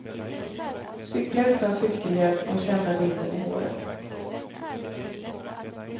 Cykla utan cykelhjälm och känna vinden i håret.